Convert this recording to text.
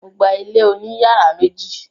Mo gba ilé oní yàrá méjì.